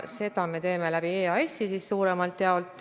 Seda me teeme suuremalt jaolt läbi EAS-i.